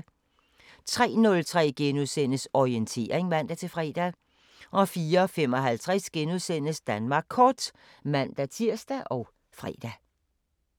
03:03: Orientering *(man-fre) 04:55: Danmark Kort *(man-tir og fre)